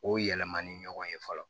O yɛlɛmani ɲɔgɔn ye fɔlɔ